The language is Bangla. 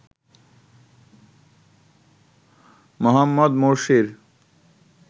মোহাম্মদ মোরসির